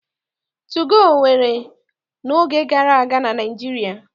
Tugoo wuru n'oge gara aga na Naịjirịa.